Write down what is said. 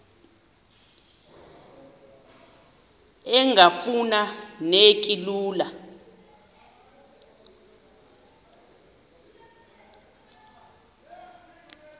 engafuma neki lula